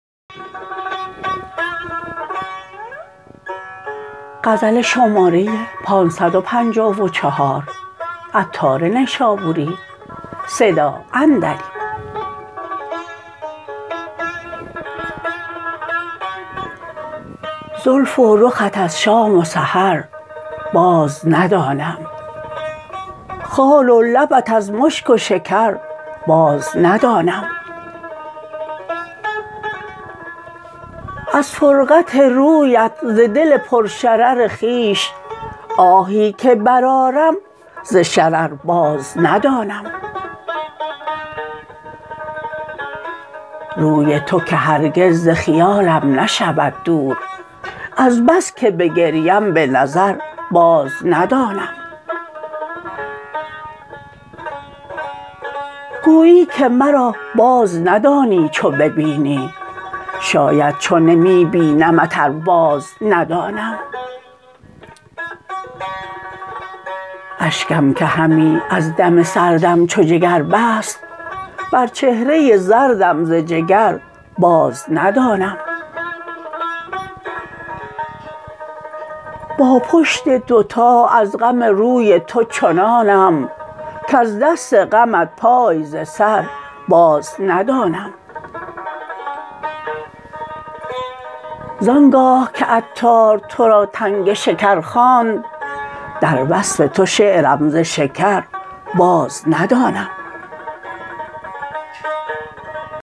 زلف و رخت از شام و سحر باز ندانم خال و لبت از مشک و شکر باز ندانم از فرقت رویت ز دل پر شرر خویش آهی که برآرم ز شرر باز ندانم روی تو که هرگز ز خیالم نشود دور از بس که بگریم به نظر باز ندانم گویی که مرا باز ندانی چو ببینی شاید چو نمی بینمت ار باز ندانم اشکم که همی از دم سردم چو جگر بست بر چهره زردم ز جگر باز ندانم با پشت دوتا از غم روی تو چنانم کز دست غمت پای ز سر باز ندانم زانگاه که عطار تو را تنگ شکر خواند در وصف تو شعرم ز شکر باز ندانم